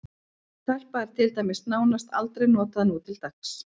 Telpa er til dæmis nánast aldrei notað nútildags.